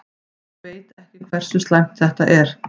Ég veit ekki hversu slæmt þetta er.